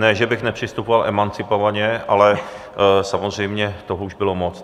Ne, že bych nepřistupoval emancipovaně, ale samozřejmě toho už bylo moc.